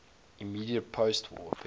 immediate postwar period